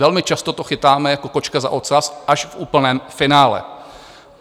Velmi často to chytáme jako kočku za ocas až v úplném finále.